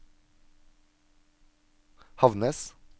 Havnnes